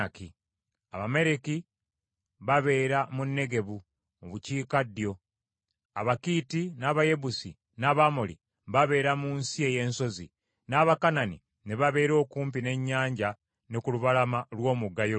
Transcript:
Abamaleki babeera mu Negebu mu bukiikaddyo; Abakiiti n’Abayebusi, n’Abamoli babeera mu nsi ey’ensozi; n’Abakanani ne babeera okumpi n’ennyanja ne ku lubalama lw’omugga Yoludaani.”